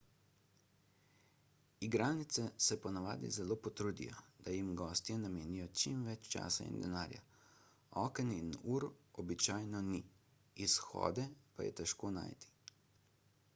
igralnice se ponavadi zelo potrudijo da jim gostje namenijo čim več časa in denarja oken in ur običajno ni izhode pa je težko najti